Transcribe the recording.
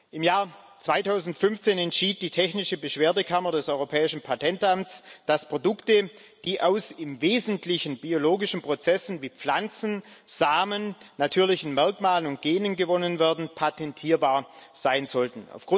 Im Jahr 2015 entschied die technische Beschwerdekammer des Europäischen Patentamts, dass Produkte, die aus im Wesentlichen biologischen Prozessen, wie Pflanzensamen, natürlichen Merkmalen und Genen, gewonnen werden, patentierbar sein sollten.